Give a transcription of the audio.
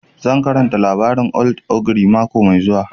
Zan karanta labarin old ogre mako mai zuwa